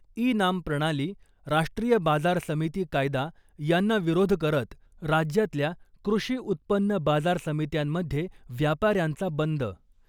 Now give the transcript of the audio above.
E NAM प्रणाली , राष्ट्रीय बाजार समिती कायदा यांना विरोध करत राज्यातल्या कृषी उत्पन्न बाजार समित्यांमध्ये व्यापाऱ्यांचा बंद .